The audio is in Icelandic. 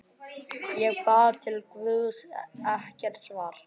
Ég bað til Guðs- ekkert svar.